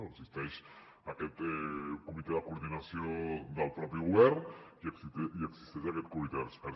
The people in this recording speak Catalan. existeix aquest comitè de coordinació del mateix govern i existeix aquest comitè d’experts